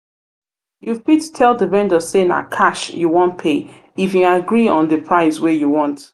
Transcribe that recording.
you fit tell di vendor sey na cash you wan pay if im agree on di price wey you want